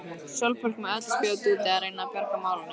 Sólborg með öll spjót úti að reyna að bjarga málunum.